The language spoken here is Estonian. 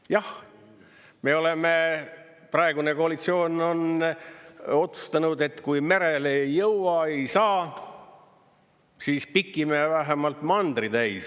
Jah, me oleme, praegune koalitsioon on otsustanud, et kui merele ei jõua, ei saa, siis pikime vähemalt mandri täis.